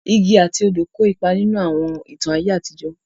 Igi àti odò kó ipa nínú àwọn ìtàn àtijọ́